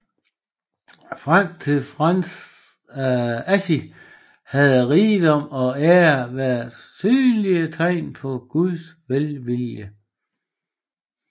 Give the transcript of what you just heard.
Frem til Frans af Assisi havde rigdom og ære været synlige tegn på Guds velvilje